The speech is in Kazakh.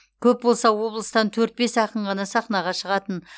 көп болса облыстан төрт бес ақын ғана сахнаға шығатын